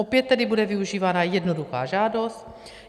Opět tedy bude využívána jednoduchá žádost.